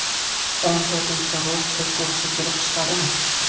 O‘n to‘rtinchi rus–turk urushi kelib chiqadimi?